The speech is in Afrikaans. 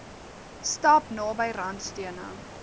stap naby randstene